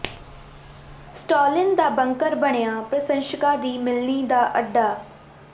Stalin ਦਾ bunker ਬਣਿਆ ਪ੍ਰਸ਼ੰਸਕਾਂ ਦੀ ਮਿਲਣੀ ਦਾ ਅੱਡਾ